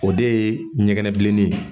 O de ye ɲɛgɛnɛbilen ye